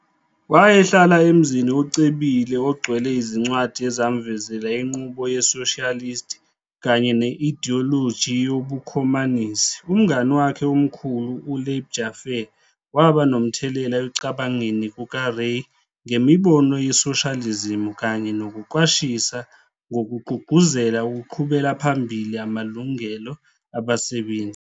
Wayehlala emzini ocebile ogcwele izincwadi ezamvezela inqubo ye-socialist kanye ne-idiyoloji yobukhomanisi. Umngane wakhe omkhulu, u- Leib Jaffe, waba nomthelela ekucabangeni kukaRay ngemibono yesoshalizimu kanye nokuqwashisa ngokugqugquzela ukuqhubela phambili amalungelo abasebenzi.